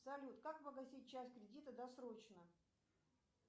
салют как погасить часть кредита досрочно